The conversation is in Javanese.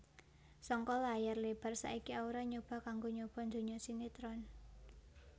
Saka layar lebar saiki Aura nyoba kanggo nyoba donya sinetron